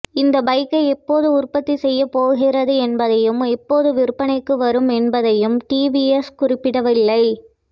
இந்த பைக்கை எப்போது உற்பத்திசெய்யப்போகிறது என்பதையும் எப்போது விற்பனைக்கு வரும் என்பதையும் டிவிஎஸ் குறிப்பிடவில்லை